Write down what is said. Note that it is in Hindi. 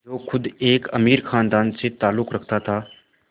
जो ख़ुद एक अमीर ख़ानदान से ताल्लुक़ रखता था